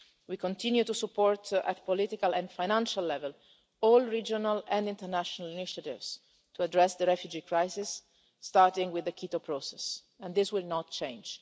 We continue to support, at political and financial level, all regional and international initiatives to address the refugee crisis, starting with the Quito Process, and this will not change.